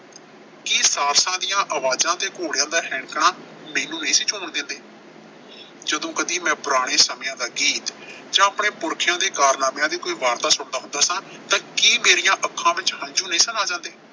ਕੀ ਦੀਆਂ ਆਵਾਜ਼ਾਂ ਤੇ ਘੋੜਿਆਂ ਦਾ ਹੈਂਕਣਾ ਮੈਨੂੰ ਨਹੀਂ ਸੀ ਦਿੰਦੇ। ਜਦੋਂ ਕਦੀ ਮੈਂ ਪੁਰਾਣੇ ਸਮਿਆਂ ਦਾ ਗੀਤ ਜਾਂ ਆਪਣੇ ਪੁਰਖਿਆਂ ਦੇ ਕਾਰਨਾਮਿਆਂ ਦੀ ਕੋਈ ਵਾਰਤਾ ਸੁਣਦਾ ਹੁੰਦਾ ਸਾਂ ਤਾਂ ਕੀ ਮੇਰੀਆਂ ਅੱਖਾਂ ਵਿੱਚ ਹੰਝੂ ਨਹੀਂ ਸਨ ਆ ਜਾਂਦੇ।